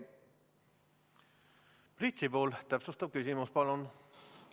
Priit Sibul, täpsustav küsimus, palun!